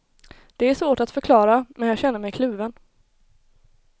Det är svårt att förklara, men jag känner mig kluven.